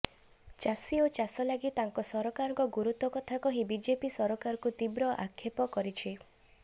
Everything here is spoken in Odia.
ଚାଷୀ ଓ ଚାଷ ଲାଗି ତାଙ୍କ ସରକାରଙ୍କ ଗୁରୁତ୍ବ କଥା କହି ବିଜେପି ସରକାରକୁ ତୀବ୍ର ଆକ୍ଷେପ କରିଛନ୍ତି